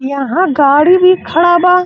यहां गाड़ी भी खड़ा बा।